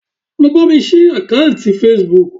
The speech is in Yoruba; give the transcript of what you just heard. Lọ bámi ṣí àkáǹkì Facebook